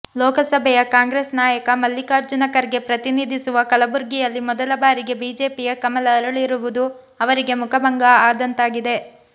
ಲೋಕಸಭೆಯ ಕಾಂಗ್ರೆಸ್ ನಾಯಕ ಮಲ್ಲಿಕಾರ್ಜುನ ಖರ್ಗೆ ಪ್ರತಿನಿಧಿಸುವ ಕಲಬುರ್ಗಿಯಲ್ಲಿ ಮೊದಲ ಬಾರಿಗೆ ಬಿಜೆಪಿಯ ಕಮಲ ಅರಳಿರುವುದು ಅವರಿಗೆ ಮುಖಭಂಗ ಆದಂತಾಗಿದೆ